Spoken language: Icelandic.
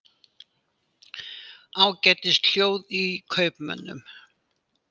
Ágætis hljóð í kaupmönnum